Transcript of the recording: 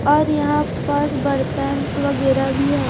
और यहां पास बर्तन वगैरह भी है।